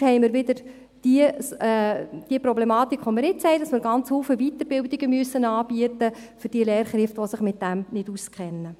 Sonst haben wir wieder dieselbe Problematik, die wir jetzt haben, dass man ganz viele Weiterbildungen anbieten muss für die Lehrkräfte, die sich damit nicht auskennen.